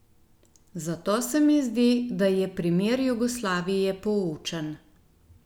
Zato se mi zdi, da je primer Jugoslavije poučen.